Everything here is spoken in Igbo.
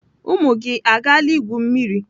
Ụmụ gị agaala igwu mmiri?